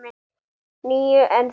Níu, en þú?